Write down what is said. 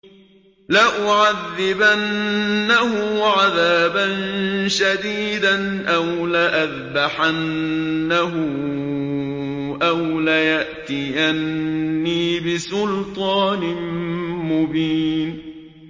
لَأُعَذِّبَنَّهُ عَذَابًا شَدِيدًا أَوْ لَأَذْبَحَنَّهُ أَوْ لَيَأْتِيَنِّي بِسُلْطَانٍ مُّبِينٍ